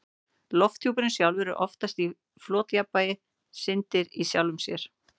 Lofthjúpurinn sjálfur er oftast í flotjafnvægi, syndir í sjálfum sér.